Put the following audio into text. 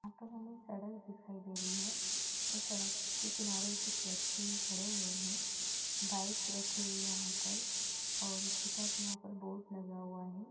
यहाँ पर हमें सड़क दिखाई दे रही है | सड़क के किनारे कुछ व्यक्ति खड़े हुए है | बाइक रखी हुई है यहाँ पर और इसके साथ यहाँ पर बोर्ड लगा हुआ है।